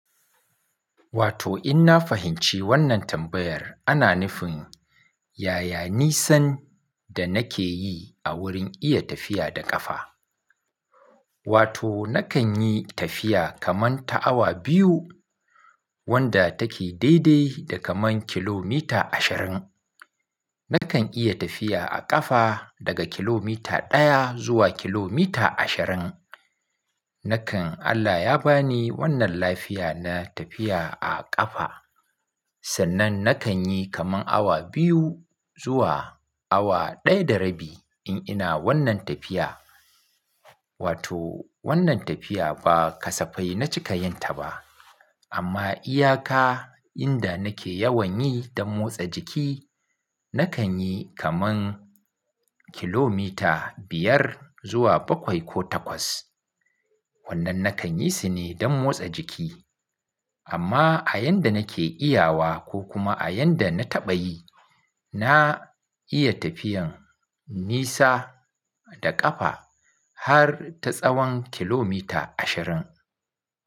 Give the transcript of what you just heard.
Wato in na fahimci wannan tambayar ana nufin ya ya nisan da nake yi a wurin iya tafiya da ƙafa. Wato nakan yi tafiya kaman ta awa biyu wanda take daidai da kaman kilomita ashirin. Nakan iya tafiya a ƙafa daga kilomita ɗaya zuwa kilomita ashirin. Nakan Allah ya ba ni wannan lafiya na tafiya a ƙafa sannan nakan yi kaman awa biyu zuwa awa ɗaya da rabi in ina wannan tafiya. Wato wannan tafiya ba kasafai na cika yin ta ba amma iyaka inda nake yawan yi don motsa jiki nakan yi kaman kilomita biyar zuwa bakwai ko takwas. Wannan nakan yi su ne don motsa jiki amma a yanda nake iya wa ko kuma a yanda na taɓa yi, na iya tafiyan nisa da ƙafa har ta tsawon kilomita ashirin.